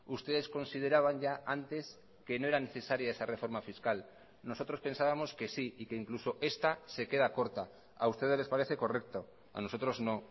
ustedes consideraban ya antes que no era necesaria esa reforma fiscal nosotros pensábamos que sí y que incluso esta se queda corta a ustedes les parece correcto a nosotros no